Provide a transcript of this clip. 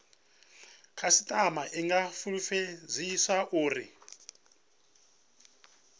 khasitama i nga fulufhedziswa uri